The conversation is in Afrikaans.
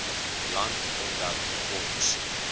land omdat ons